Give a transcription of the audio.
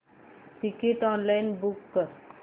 ticket online book कर